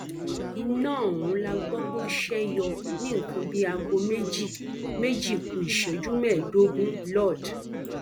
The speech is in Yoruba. iná ọhún la gbọ pé ó ṣe yọ ní nǹkan bíi aago méjì méjì ku ìṣẹjú mẹẹẹdógún lord